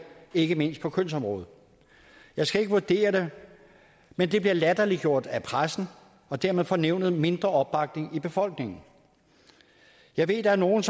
ikke mindst på kønsområdet jeg skal ikke vurdere det men det bliver latterliggjort af pressen og dermed får nævnet mindre opbakning i befolkningen jeg ved at der er nogle